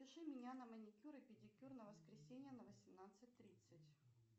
запиши меня на маникюр и педикюр на воскресенье на восемнадцать тридцать